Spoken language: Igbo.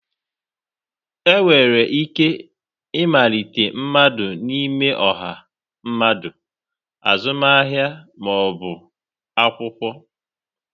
Enwere ike ịmalite mmadụ n'ime ọha mmadụ, azụmahịa ma ọ bụ akwụkwọ.